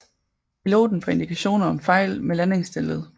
Piloten får indikationer om fejl med landingsstellet